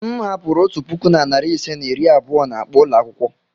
M hapụrụ otu puku na narị ise na iri abụọ na akpa ụlọ akwụkwọ.